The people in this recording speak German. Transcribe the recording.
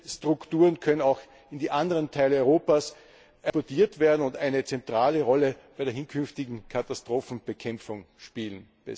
Diese Strukturen können auch in die anderen Teile Europas exportiert werden und eine zentrale Rolle bei der künftigen Katastrophenbekämpfung spielen.